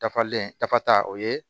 Dafalen tafa ta o ye